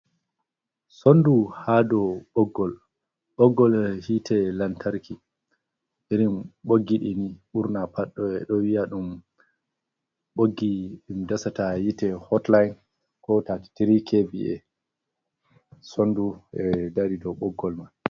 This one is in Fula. Sondu ha dow ɓoggol, ɓoggol hiite lantarki, irin ɓoggi ɗii ni ɓurna pat ɓe ɗo wi'ya ɗum ɓoggi ɗum dasata hiite hotlaain, ko taati tiri ke-vii-e, sondu dari dow ɓoggol man.